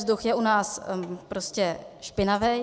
Vzduch je u nás prostě špinavý.